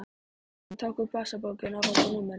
Hann tók upp vasabókina og valdi númerið.